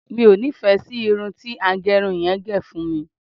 mi o nifẹ sí Irun ti agerun yen ge fún mi